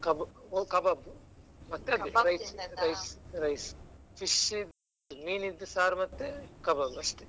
Kab~ ಒ kebab ಮತ್ತೆ rice . fish ಮೀನ್ ಇದ್ದು ಸಾರ್ ಮತ್ತೆ kebab ಅಷ್ಟೇ.